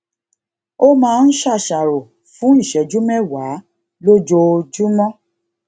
ó máa ń ṣàṣàrò fún ìṣéjú méwàá lójoojúmó